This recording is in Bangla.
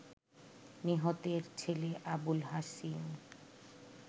নিহতের ছেলে আবুল হাসিম